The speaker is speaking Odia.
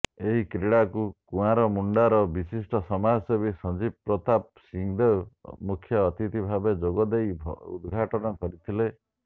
ଏହି କ୍ରୀଡ଼ାକୁ କୁଆଁରମୁଣ୍ଡାର ବିଶିଷ୍ଟ ସମାଜସେବୀ ସଞ୍ଜୀବ ପ୍ରତାପ ସିଂଦେଓ ମୁଖ୍ୟଅତିଥି ଭାବେ ଯୋଗଦେଇ ଉଦଘାଟନ କରିଥିଲେ